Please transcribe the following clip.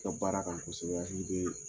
Ka baara kan kosɛbɛ i bɛ